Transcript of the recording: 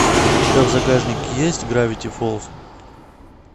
у тебя в загашнике есть гравити фолз